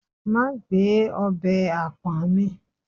ma gbe obe apọ̀n mi